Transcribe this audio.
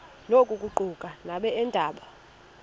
oku kuquka nabeendaba